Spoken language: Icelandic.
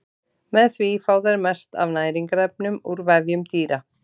Með því fá þær mest af næringarefnum úr vefjum dýra.